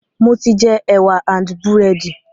Mo ti jẹ ẹwà and búrẹ́dì